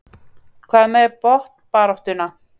Hvað með botnbaráttuna?